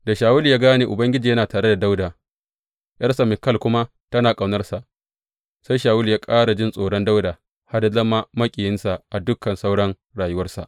Da Shawulu ya gane Ubangiji yana tare da Dawuda, ’yarsa Mikal kuma tana ƙaunarsa, sai Shawulu ya ƙara jin tsoron Dawuda har ya zama maƙiyinsa a dukan sauran rayuwarsa.